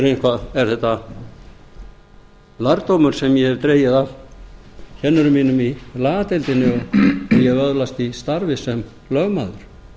er þetta lærdómur sem ég hef dregið af kennurum mínum í lagadeildinni og ég hef öðlast í starfi sem lögmaður